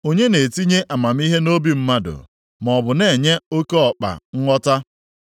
Onye na-etinye amamihe nʼobi mmadụ, maọbụ na-enye oke ọkpa nghọta?